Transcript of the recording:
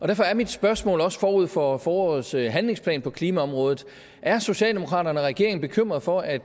derfor er mit spørgsmål forud for forårets handlingsplan på klimaområdet er socialdemokraterne og regeringen bekymrede for at